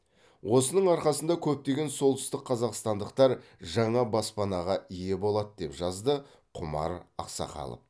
осының арқасында көптеген солтүстік қазақстандықтар жаңа баспанаға ие болады деп жазды құмар ақсақалов